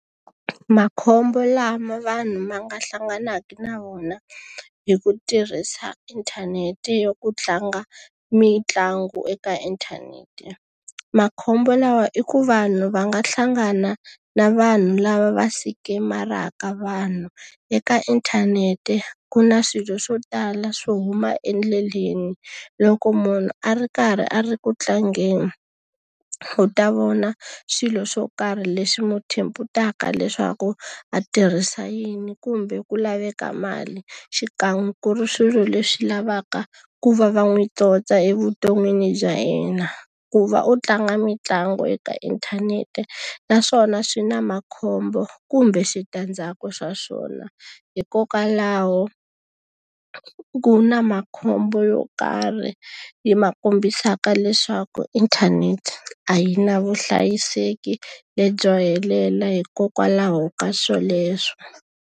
Makhombo lama vanhu ma nga hlanganaka na wona hi ku tirhisa inthanete yo ku tlanga mitlangu eka inthanete. Makhombo lawa i ku vanhu va nga hlangana na vanhu lava va sikemaraka vanhu. Eka inthanete ku na swilo swo tala swo huma endleleni. Loko munhu a ri karhi a ri ku tlangeni, u ta vona swilo swo karhi leswi n'wi leswaku a tirhisa yini kumbe ku laveka mali, xikan'we ku ri swilo leswi lavaka ku va va n'wi tsotsa evuton'wini bya yena. Ku va u tlanga mitlangu eka inthanete naswona swi na makhombo kumbe switandzhaku swa swona. Hikokwalaho ku na ma makhombo yo karhi yi ma kombisaka leswaku inthanete a yi na vuhlayiseki lebyo helela hikokwalaho ka swoleswo.